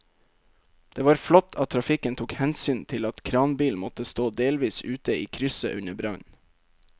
Det var flott at trafikken tok hensyn til at kranbilen måtte stå delvis ute i krysset under brannen.